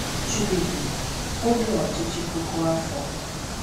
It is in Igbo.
Jubili Oge Ọchịchị Puku Afọ